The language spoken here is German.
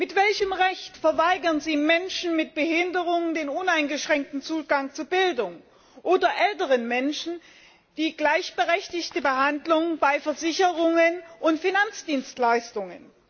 Mit welchem Recht verweigern Sie Menschen mit Behinderungen den uneingeschränkten Zugang zu Bildung, oder älteren Menschen die gleichberechtigte Behandlung bei Versicherungen und Finanzdienstleistungen?